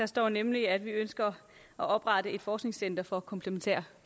står nemlig at vi ønsker at oprette et forskningscenter for komplementær